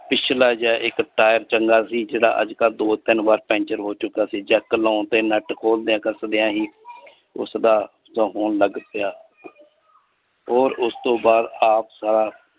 ਪਿਛਲਾ ਜਾ ਇੱਕ tire ਚੰਗਾ ਸੀ ਜਿਹੜਾ ਅੱਜ ਤਾਂ ਦੋ ਤਿੰਨ ਬਾਰ ਪੈਂਚਰ ਹੋ ਚੁਕਾ ਸੀ jack ਲੋਣ ਤੇ ਨਟ ਖੋਲ ਦੇਆਂ ਕਸਦਿਆਂ ਹੀ ਉਸਦਾ ਹੋਣ ਲੱਗ ਪਿਆ ਓਰ ਉਸਤੋਂ ਬਾਦ ਆਪ ਸਾਰਾ।